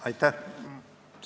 Aitäh!